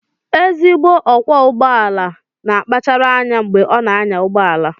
Ezigbo ọkwọ ụgbọ ala na-akpachara anya mgbe ọ na-anya ụgbọ ala